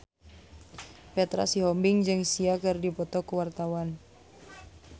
Petra Sihombing jeung Sia keur dipoto ku wartawan